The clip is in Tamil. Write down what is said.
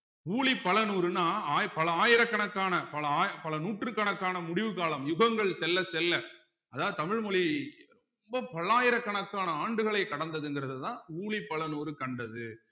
ஊழிப் பல நூறுன்னா ஆயி பல ஆயிரக்கணக்கான பல ஆயி பல நூற்றுக்கணக்கான முடிவு காலம் யுகங்கள் செல்ல செல்ல அதாவது தமிழ் மொழி ரொம்ப பல்லாயிரக்கணக்கான ஆண்டுகளை கடந்ததுங்கிறதுதான் ஊழிப் பல நூறு கண்டது